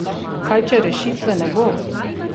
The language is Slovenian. Kaj če rešitve ne bo?